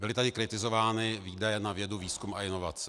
Byly tady kritizovány výdaje na vědu, výzkum a inovace.